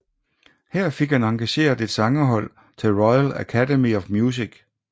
Her fik han engageret et sangerhold til Royal Academy of Music